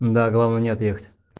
да главное не отъехать